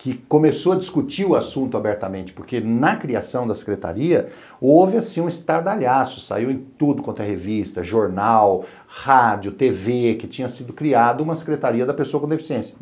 que começou a discutir o assunto abertamente, porque na criação da secretaria houve assim um estardalhaço, saiu em tudo quanto é revista, jornal, rádio, tê vê, que tinha sido criada uma secretaria da pessoa com deficiência.